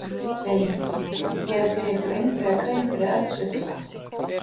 Lillý: Gerið þið ykkur einhverja grein fyrir eldsupptökum?